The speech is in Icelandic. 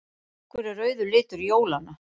Af hverju er rauður litur jólanna?